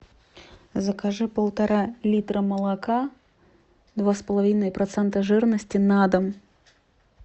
закажи полтора литра молока два с половиной процента жирности на дом